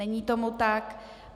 Není tomu tak.